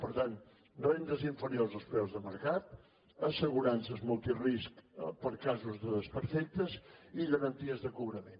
per tant rendes inferiors als preus de mercat assegurances multirisc per a casos de desperfectes i garanties de cobrament